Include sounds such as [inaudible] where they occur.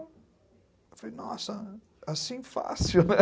Eu falei, nossa, assim fácil, né? [laughs]